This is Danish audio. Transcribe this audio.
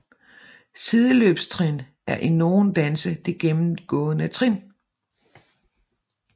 Sideløbstrin er i nogle danse det gennemgående trin